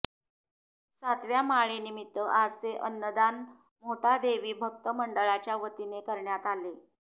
सातव्या माळेनिमित्त आजचे अन्नदान मोहटादेवी भक्त मंडळाच्या वतीने करण्यात आले